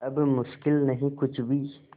अब मुश्किल नहीं कुछ भी